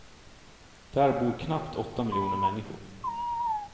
Där bor knappt åtta miljoner människor.